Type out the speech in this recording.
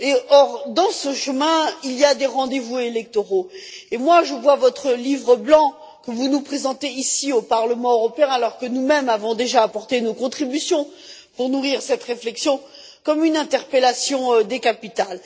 Or, sur ce chemin, il y a des rendez vous électoraux, et je vois votre Livre blanc que vous nous présentez ici, au Parlement européen, alors que nous mêmes avons déjà apporté nos contributions pour nourrir cette réflexion comme une interpellation des capitales.